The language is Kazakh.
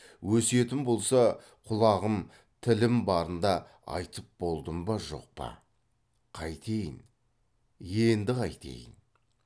өсиетім болса құлағым тілім барында айтып болдым ба жоқ па қайтейін енді қайтейін